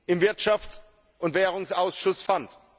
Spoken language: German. im Wirtschafts und Währungsausschuss fand.